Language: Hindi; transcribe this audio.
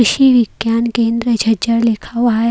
कृषि विज्ञान केंद्र छछर लिका हुआ है।